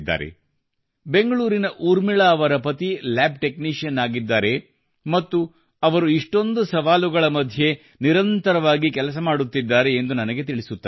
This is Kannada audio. ನನಗೆ ಬೆಂಗಳೂರಿನ ಉರ್ಮಿಳಾ ಅವರ ಪತಿ ಲ್ಯಾಬ್ ಟೆಕ್ನಿಶಿಯನ್ ಆಗಿದ್ದಾರೆ ಮತ್ತು ಅವರು ಇಷ್ಟೊಂದು ಸವಾಲುಗಳ ಮಧ್ಯೆ ಅವರು ನಿರಂತರವಾಗಿ ಕೆಲಸ ಮಾಡುತ್ತಿದ್ದಾರೆ ಎಂದು ನನಗೆ ತಿಳಿಸುತ್ತಾರೆ